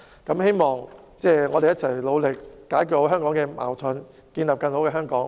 我希望大家可以一起努力解決香港的矛盾，建立更好的香港。